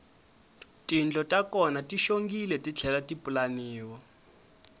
tindlo ta kona ti xongile titlhela ti pulaniwa